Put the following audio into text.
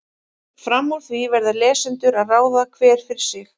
Fram úr því verða lesendur að ráða, hver fyrir sig.